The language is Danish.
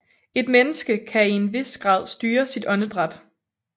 Et menneske kan til en vis grad styre sit åndedræt